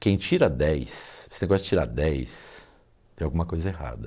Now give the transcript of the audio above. Quem tira dez, esse negócio de tirar dez, tem alguma coisa errada.